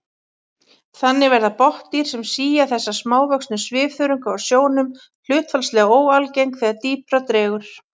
Þannig verða botndýr sem sía þessa smávöxnu svifþörunga úr sjónum hlutfallslega óalgeng þegar dýpra dregur.